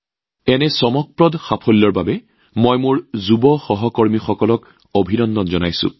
এই আচৰিত কৃতিত্বৰ বাবে মোৰ যুৱ সহকৰ্মীসকলক অভিনন্দন জনাইছো